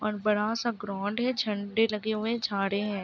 और बड़ा सा ग्राउंड है। झंडे लगे हुए हैं। झाड़े हैं।